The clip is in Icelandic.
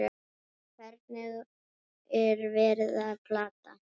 Hvern er verið að plata?